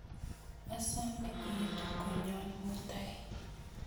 Asome iitu konyon mutai